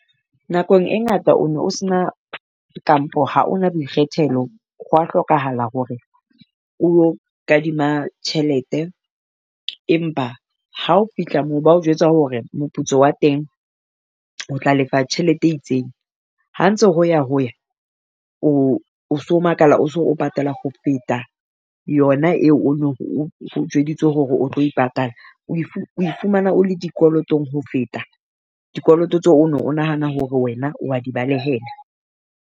Nakong e ngata o no sena kampo ha o na boikgethelo. Hwa hlokahala hore o yo kadima tjhelete, empa ha o fihla moo ba o jwetsa hore moputso wa teng o tla lefa tjhelete e itseng. Ha ntse ho ya ho ya o so makala o patala ho feta yona eo o neng o o jweditswe hore o tlo e patala o o ifumana o le dikolotong ho feta dikoloto tse o o ne o nahana hore wena wa di balehela.